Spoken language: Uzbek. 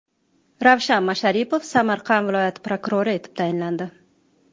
Ravshan Masharipov Samarqand viloyati prokurori etib tayinlandi.